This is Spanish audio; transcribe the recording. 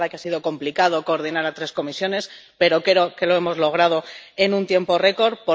Es verdad que ha sido complicado coordinar a tres comisiones, pero creo que lo hemos logrado en un tiempo récord.